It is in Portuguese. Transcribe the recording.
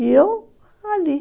E eu ali.